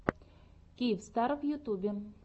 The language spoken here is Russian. киевстар в ютьюбе